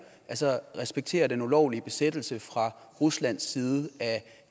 altså respektere den ulovlige besættelse fra ruslands side af